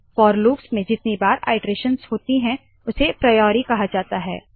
four loops में जितनी बार आइटरेशंस होती है उसे प्रायोरी कहते है